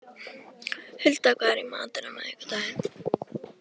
Hulda, hvað er í matinn á miðvikudaginn?